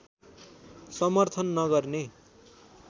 समर्थन नगर्ने